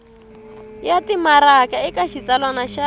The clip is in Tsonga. ya timaraka eka xitsalwana xa